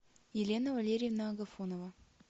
елена валерьевна агафонова